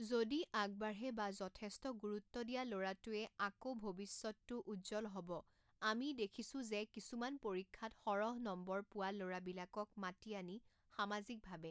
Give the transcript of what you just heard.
যদি আগবাঢ়ে বা যথেষ্ট গুৰুত্ব দিয়া ল'ৰাটোৱে আক ভৱিষ্যতটো উজ্জল হ'ব আমি দেখিছোঁ যে কিছুমান পৰীক্ষাত সৰহ নম্বৰ পোৱা ল'ৰাবিলাকক মাতি আনি সামাজিকভাৱে